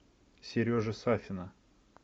сережи сафина